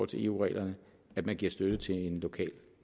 til eu reglerne at man giver støtte til en lokal